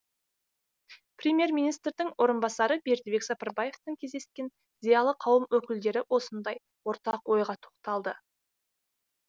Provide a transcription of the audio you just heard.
премьер министрдің орынбасары бердібек сапарбаевпен кездескен зиялы қауым өкілдері осындай ортақ ойға тоқталды